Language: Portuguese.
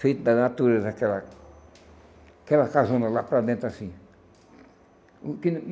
Feito da natureza, aquela aquela casona lá para dentro, assim. O que